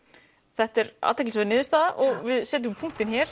þetta er athyglisverð niðurstaða og við setjum punktinn hér